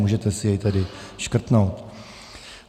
Můžete si jej tedy škrtnout.